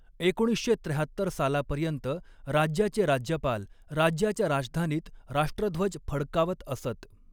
एकोणीसशे त्र्याहत्तर सालापर्यंत राज्याचे राज्यपाल राज्याच्या राजधानीत राष्ट्रध्वज फडकावत असत.